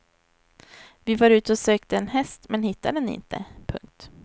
Vi var ute och sökte en häst men hittade den inte. punkt